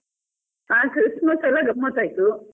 ಹ Christmas ಎಲ್ಲ ಗಮ್ಮತ್ ಆಯ್ತು.